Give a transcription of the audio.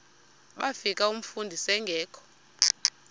bafika umfundisi engekho